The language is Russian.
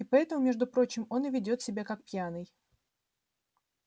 и поэтому между прочим он и ведёт себя как пьяный